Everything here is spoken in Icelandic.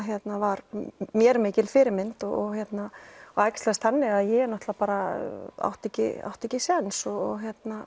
var mér mikil fyrirmynd og það æxlast þannig að ég átti ekki átti ekki sjens og